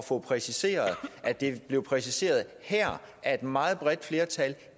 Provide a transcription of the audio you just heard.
få præciseret at det blev præciseret her af et meget bredt flertal